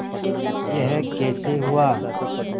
यह कैसे हुआ